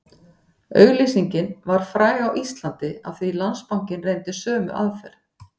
Auglýsingin varð fræg á Íslandi af því Landsbankinn reyndi sömu aðferð